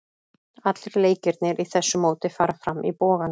Allir leikirnir í þessu móti fara fram í Boganum.